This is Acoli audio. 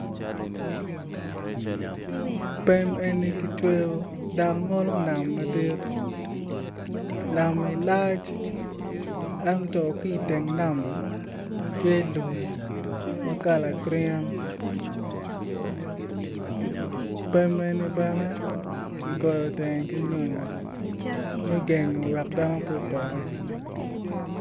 Pem eni kicweyo ngolo nam madit nami lac ento ki i teng nami tye lum ma kalane green pem eni bene ki gengo teng ki nyonyo me gengo dano pe opoti.